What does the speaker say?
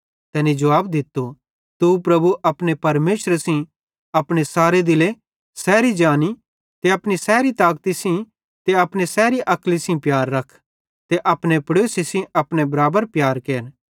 तैनी जुवाब दित्तो तू प्रभु अपने परमेशरे सेइं अपने सारे दिले सैरी जानी सेइं ते अपनी सैरी ताकती सेइं ते अपनी सैरी अक्ल सेइं प्यार रख ते अपने पड़ोसी सेइं अपने बराबर प्यार केर